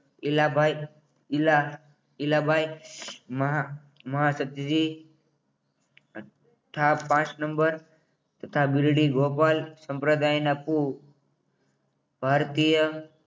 ઈલાભાઈ ઇલા ઇલાભાઈ મહા મહા સધી તથા પાંચ નંબર તથા બીલડી ગોપાલ સંપ્રદાયના કુ ભારતીય